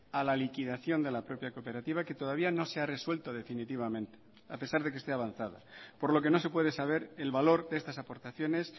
a la liquidación de la propia cooperativa que todavía no se ha resuelto definitivamente a pesar de que esté avanzada por lo que no se puede saber el valor de estas aportaciones